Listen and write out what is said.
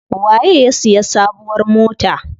Waye ya siya sabuwar mota?